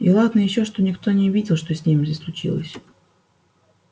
и ладно ещё что никто не видел что с ними случилось